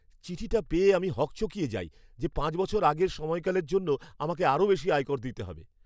চিঠিটা পেয়ে আমি হকচকিয়ে যাই যে পাঁচ বছর আগের সময়কালের জন্য আমাকে আরও বেশি আয়কর দিতে হবে!